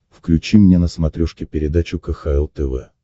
включи мне на смотрешке передачу кхл тв